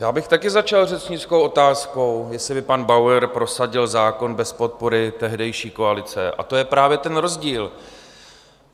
Já bych také začal řečnickou otázkou, jestli by pan Bauer prosadil zákon bez podpory tehdejší koalice, a to je právě ten rozdíl.